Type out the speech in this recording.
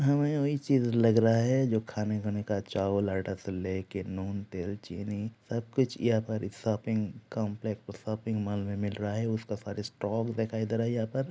हमे वही चीज लग रहा है जो खाने-वाने का चावल आटा से लेकर नून तेल चीनी सब कुछ यहाँ पर शॉपिंग कॉम्प्लेक्स शॉपिंग मॉल में मिल रहा है उसका सारा स्टोक दिखाई दे रहा है यहाँ पर।